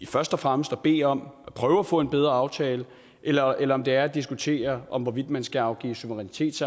først og fremmest at bede om at prøve at få en bedre aftale eller eller om det er at diskutere hvorvidt man skal afgive suverænitet